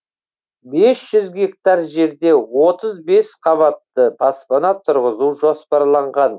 бес жүз гектар жерде отыз бесқабатты баспана тұрғызу жоспарланған